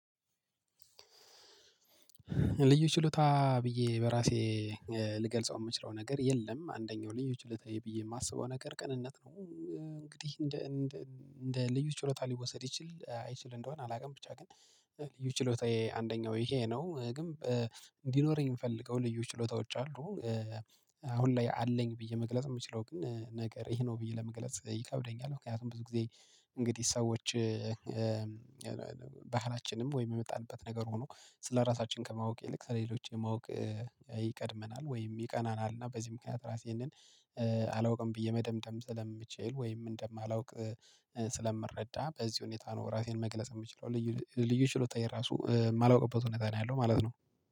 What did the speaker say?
ልዩ ችሎታ ብየ በእራሴ ልገልጸው የምችለው ነገር የለም አንደኛው ልዩ ችሎታየ ብየ የማስበው ነገር ቅንነት ነው። እንግዲህ እንደ ልዩ ችሎታ ሊወሰድ ይችል አይችል እንደሆን አላውቅም። ብቻ ግን ልዩ ችሎታየ አንደኛው ይሄ ነው። ግን እንዲኖረኝ የምፈልገው ልዩ ችሎታዎች አሉ። አሁን ላይ አለኝ ብዬ መግለጽ የምችለው ግን ነገር ይሄ ነው ብዬ ለመግለጽ ይከብደኛል። ምክንያቱም ብዙ ጊዜ እንግዲህ ሰዎች ባህላችንም ወይ የመጣንበት ነገር ሆኖ ስለራሳችን ከማወቅ ይልቅ ስለሌሎች የማወቅ ይቀድመናል ወይም ይቀናናል። እና በዚህ ምክንያት ራሴንን አላውቅም ብዬ መደምደም ስለምችል ወይም እንደማላውቅ ስለምረዳ በዚህ ሁኔታ ነው። ራሴን መግለጽ የምችለው ልዩ ልዩ ችሎታ የራሱ የማላውቅበት እውነት ነው ያለው ማለት ነው።